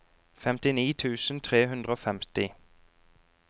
femtini tusen tre hundre og femti